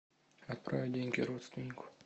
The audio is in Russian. отправить деньги родственнику